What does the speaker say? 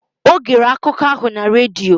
O gere akụkọ ahụ na redio